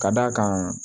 Ka d'a kan